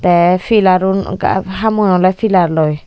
tey pelarun ekka hamun ola pilar loi.